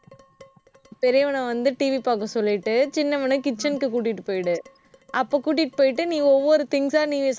நீ. பெரியவனை வந்து, TV பார்க்க சொல்லிட்டு சின்னவனை kitchen க்கு கூட்டிட்டு போயிடு. அப்ப கூட்டிட்டு போயிட்டு நீ ஒவ்வொரு things ஆ நீ